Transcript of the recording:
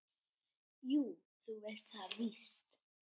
Jú, þú veist það víst.